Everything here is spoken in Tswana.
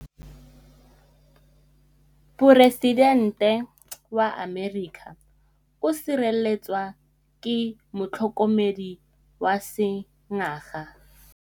Poresitêntê wa Amerika o sireletswa ke motlhokomedi wa sengaga.